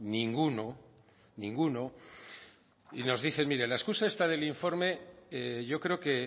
ninguno ninguno y nos dice mire la excusa esta del informe yo creo que